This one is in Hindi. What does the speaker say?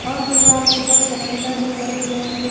और दीवाल के ऊपर कैलेंडर भी लगे हुए जो--